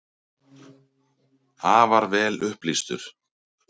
Afar vel upplýstur.